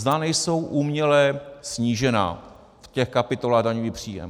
Zda nejsou uměle snížena v těch kapitolách daňový příjem.